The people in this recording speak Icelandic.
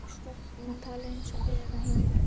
Hann talaði eins og einn á heimilinu.